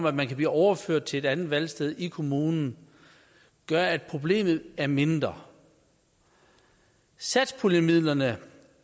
at man kan blive overført til et andet valgsted i kommunen gør at problemet er blevet mindre satspuljemidlerne